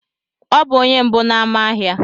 Ọ bụ onye mbụ n'ámá ahịa.